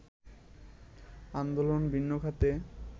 আন্দোলন ভিন্ন খাতে